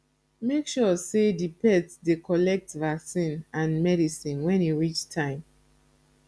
make sure sey di pet dey collect vaccine and medicine when e reach time